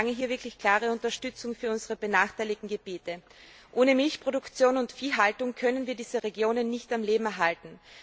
Ich verlange hier wirklich eine klare Unterstützung für unsere benachteiligten Gebiete. Ohne Milchproduktion und Viehhaltung können wir diese Regionen nicht am Leben erhalten.